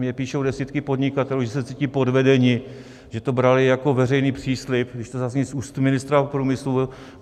Mně píšou desítky podnikatelů, že se cítí podvedeni, že to brali jako veřejný příslib, když to zazní z úst ministra průmyslu.